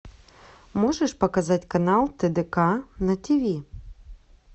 можешь показать канал тдк на ти ви